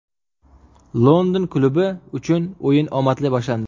London klubi uchun o‘yin omadli boshlandi.